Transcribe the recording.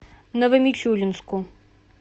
новомичуринску